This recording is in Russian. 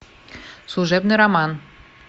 служебный роман